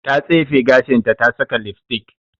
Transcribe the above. Ta tsefe gashinta ta saka lipstick.